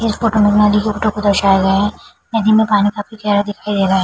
इस फोटो मे नदी के फोटो को दर्शाया गया है। नदी में पानी काफी गहरा दिखाई दे रहे है।